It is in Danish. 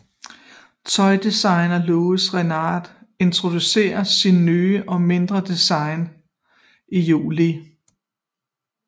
Tøjdesigneren Louis Réard introducerede sit nye og mindre design i juli